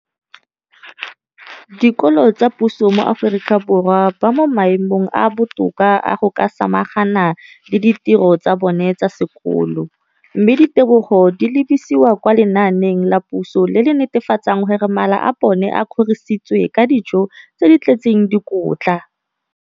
Dikolo tsa puso mo Aforika Borwa ba mo maemong a a botoka a go ka samagana le ditiro tsa bona tsa sekolo, mme ditebogo di lebisiwa kwa lenaaneng la puso le le netefatsang gore mala a bona a kgorisitswe ka dijo tse di tletseng dikotla.